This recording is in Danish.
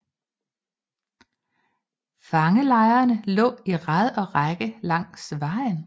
Fangelejrene lå i rad og række langs vejen